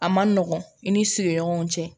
A man nɔgɔn i ni sigiɲɔgɔnw cɛ